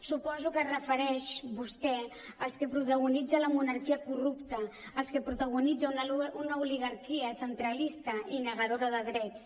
suposo que es refereix vostè als que protagonitza la monarquia corrupta als que protagonitza una oligarquia centralista i negadora de drets